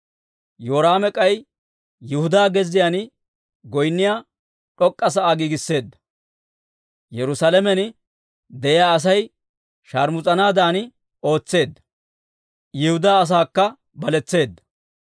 Yoraame k'ay Yihudaa gezziyaan goynniyaa d'ok'k'a sa'aa giigisseedda; Yerusaalamen de'iyaa Asay sharmus'anaadan ootseedda; Yihudaa asaakka baletseedda.